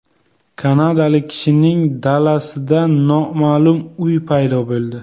Kanadalik kishining dalasida noma’lum uy paydo bo‘ldi .